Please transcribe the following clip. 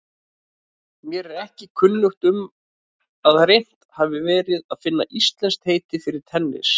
Mér er ekki kunnugt um að reynt hafi verið að finna íslenskt heiti fyrir tennis.